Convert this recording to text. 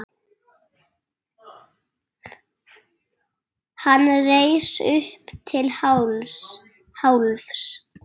Hann reis upp til hálfs.